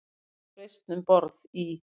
Uppreisn um borð í